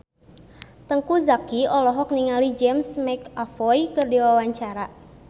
Teuku Zacky olohok ningali James McAvoy keur diwawancara